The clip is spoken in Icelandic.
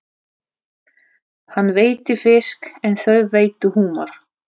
Hann veiddi fisk en þau veiddu humar.